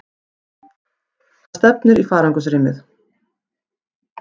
Það stefnir í farangursrýmið.